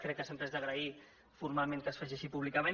crec que sempre és d’agrair formalment que es faci així públicament